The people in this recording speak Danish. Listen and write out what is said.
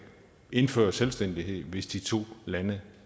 indføre selvstændighed hvis de to lande